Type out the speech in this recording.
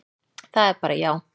Það er bara já.